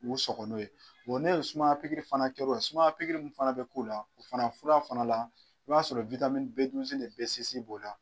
U sɔgɔ n'o ye n'e ye sumaya pikiri fana kɛra o la suumaya pikiri min fana bɛ k'o la o fana fura fana la i b'a sɔrɔ B ni b'o la.